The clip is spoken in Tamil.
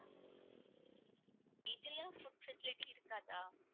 இதுல food facility இருக்காதா?